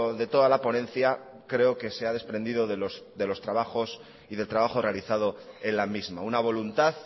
de toda la ponencia creo que se ha desprendido de los trabajos y del trabajo realizado en la misma una voluntad